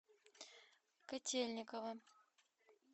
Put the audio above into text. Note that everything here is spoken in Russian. котельниково